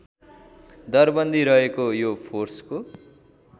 दरबन्दी रहेको यो फोर्सको